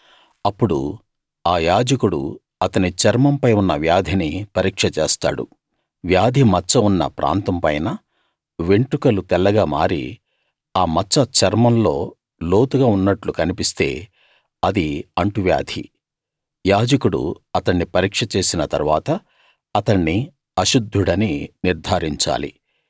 అప్పుడు ఆ యాజకుడు అతని చర్మంపై ఉన్న వ్యాధిని పరీక్ష చేస్తాడు వ్యాధి మచ్చ ఉన్న ప్రాంతంపైన వెంట్రుకలు తెల్లగా మారి ఆ మచ్చ చర్మంలో లోతుగా ఉన్నట్టు కన్పిస్తే అది అంటువ్యాధి యాజకుడు అతణ్ణి పరీక్ష చేసిన తరువాత అతణ్ణి అశుద్ధుడని నిర్థారించాలి